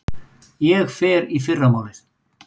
Ég fer í fyrramálið.